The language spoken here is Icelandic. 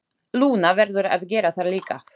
Lúna verður að gera það líka.